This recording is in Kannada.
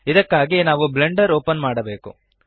ಇದಕ್ಕಾಗಿ ನಾವು ಬ್ಲೆಂಡರ್ ಓಪನ್ ಮಾಡಬೆಕು